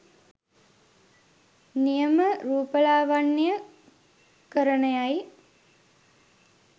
නියම රූපලාවන්‍ය කරණය යි